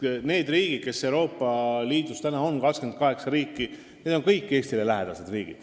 Need riigid, kes Euroopa Liidus praegu on, kõik need 28 riiki on Eestile lähedased.